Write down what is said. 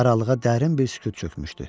Aralığa dərin bir sükut çökmüşdü.